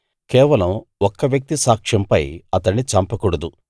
కేవలం ఒక్క వ్యక్తి సాక్ష్యంపై అతణ్ణి చంపకూడదు